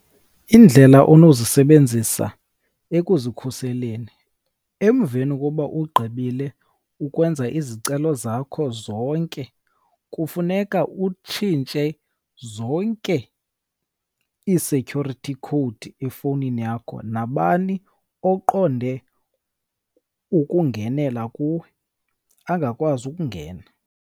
Indlela onozisebenzisa ekuzikhuseleni. Emveni koba ugqibile ukwenza izicelo zakho zonke kufuneka utshintshe zonke ii-security code efowunini yakho, nabani oqonde ukungenela kuwe angakwazi ukungena.